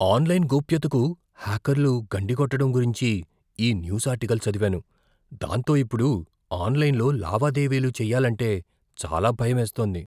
Online గోప్యతకు హ్యాకర్లు గండి కొట్టటం గురించి ఈ న్యూస్ ఆర్టికల్ చదివాను, దాంతో ఇప్పుడు ఆన్లైన్లో లావాదేవీలు చేయాలంటే చాలా భయమేస్తోంది.